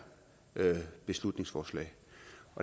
beslutningsforslag